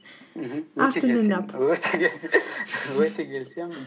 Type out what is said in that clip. өте келісемін